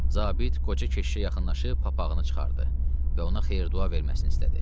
Zabit qoca keşişə yaxınlaşıb papağını çıxartdı və ona xeyir-dua verməsini istədi.